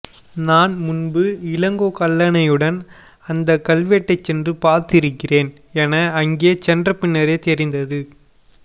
நான் முன்பு இளங்கோ கல்லானையுடன் அந்தக் கல்வெட்டைச் சென்று பார்த்திருக்கிறேன் என அங்கே சென்றபின்னரே தெரிந்தது